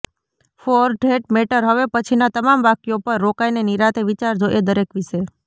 four that matter હવે પછીના તમામ વાક્યો પર રોકાઈને નિરાંતે વિચારજો એ દરેક વિશે